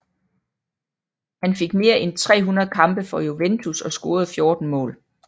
Han fik mere end 300 kampe for Juventus og scorede 14 mål